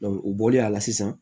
u bɔlen a la sisan